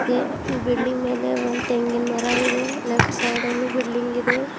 A building ಮೇಲೆ ಒಂದ್ ತೆಂಗಿನ ಮರ ಇದೆ ಲೆಫ್ಟ್ ಸೈಡ ಲ್ಲು ಬಿಲ್ಡಿಂಗ್ ಇದೆ.